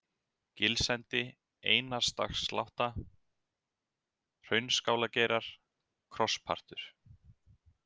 Gilsendi, Einarsdagsslátta, Hraunskálargeirar, Krosspartur